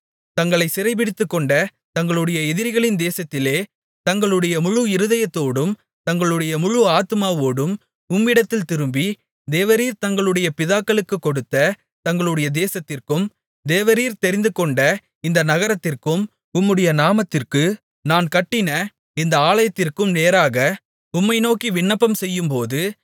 தங்களைச் சிறைபிடித்துக்கொண்ட தங்களுடைய எதிரிகளின் தேசத்திலே தங்களுடைய முழு இருதயத்தோடும் தங்களுடைய முழு ஆத்துமாவோடும் உம்மிடத்தில் திரும்பி தேவரீர் தங்களுடைய பிதாக்களுக்குக் கொடுத்த தங்களுடைய தேசத்திற்கும் தேவரீர் தெரிந்துகொண்ட இந்த நகரத்திற்கும் உம்முடைய நாமத்திற்கு நான் கட்டின இந்த ஆலயத்திற்கும் நேராக உம்மை நோக்கி விண்ணப்பம் செய்யும்போது